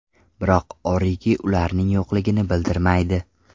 Biroq Origi ularning yo‘qligini bildirmaydi.